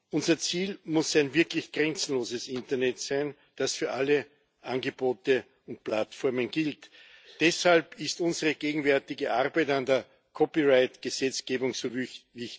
Unser Ziel muss ein wirklich grenzenloses Internet sein, das für alle Angebote und Plattformen gilt. Deshalb ist unsere gegenwärtige Arbeit an der Copyright Gesetzgebung so wichtig.